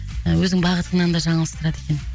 өзің бағытыңнан да жаңылыстырады екен